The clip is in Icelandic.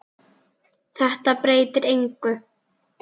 Þetta breytir engu.